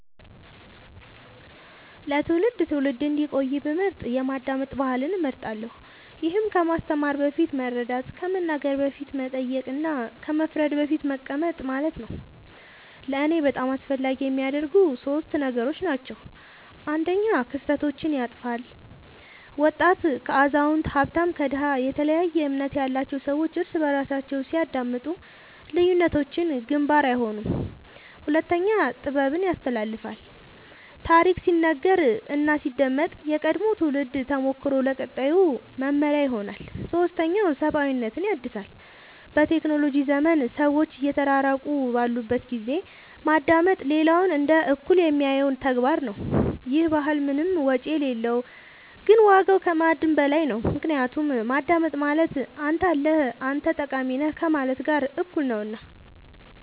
ለትውልድ ትውልድ እንዲቆይ ብመርጥ የማዳመጥ ባህልን እመርጣለሁ ይህም ከማስተማር በፊት መረዳት ከመናገር በፊት መጠየቅ እና ከመፍረድ በፊት መቀመጥ ማለት ነው ለእኔ በጣም አስፈላጊ የሚያደርገው ሶስት ነገሮች ናቸው አንደኛ ክፍተቶችን ያጥፋል ወጣት ከአዛውንት ሀብታም ከድሃ የተለያየ እምነት ያላቸው ሰዎች እርስ በርሳቸው ሲያዳምጡ ልዩነቶች ግንባር አይሆኑም ሁለተኛ ጥበብን ያስተላልፋል ታሪክ ሲነገር እና ሲዳመጥ የቀድሞው ትውልድ ተሞክሮ ለቀጣዩ መመሪያ ይሆናል ሶስተኛ ሰብአዊነትን ያድሳል በቴክኖሎጂ ዘመን ሰዎች እየተራራቁ ባሉበት ጊዜ ማዳመጥ ሌላውን እንደ እኩል የሚያየው ተግባር ነው ይህ ባህል ምንም ወጪ የሌለው ግን ዋጋው ከማዕድን በላይ ነው ምክንያቱም ማዳመጥ ማለት አንተ አለህ አንተ ጠቃሚ ነህ ከማለት ጋር እኩል ነውና